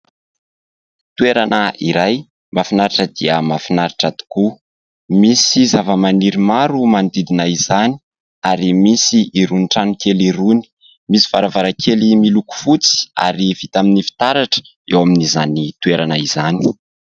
Toerana iray mahafinaritra dia mahafinaritra tokoa ! Misy zava-maniry maro manodidina izany ary misy irony tranokely irony ; misy varavarankely miloko fotsy ary vita amin'ny fitaratra eo amin'izany toerana izany.